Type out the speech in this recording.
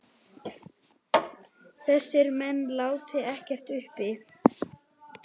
Þessir menn láti ekkert uppi.